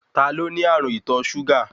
Ta ló ní ààrùn ìtọ súgà?